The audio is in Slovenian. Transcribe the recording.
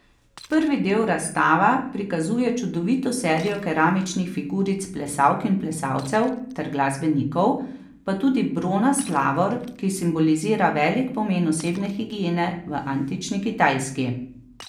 Prvi del razstava prikazuje čudovito serijo keramičnih figuric plesalk in plesalcev ter glasbenikov, pa tudi bronast lavor, ki simbolizira velik pomen osebne higiene v antični Kitajski.